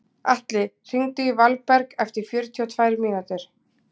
Atli, hringdu í Valberg eftir fjörutíu og tvær mínútur.